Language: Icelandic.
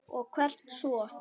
Og hvert svo?